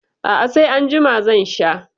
A'a sai anjima zan sha.